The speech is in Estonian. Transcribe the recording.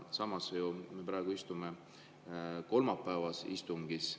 Samas me praegu istume kolmapäevasel istungil.